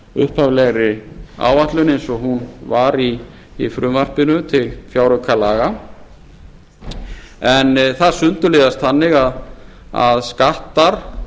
upphaflegri áætlun eins og hún var í frumvarpinu til fjáraukalaga en það sundurliða þannig að skattar